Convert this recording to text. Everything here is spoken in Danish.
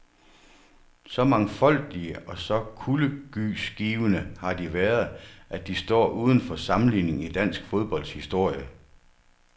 Så mangfoldige og så kuldegysgivende har de været, at de står uden for sammenligning i dansk fodbolds historie.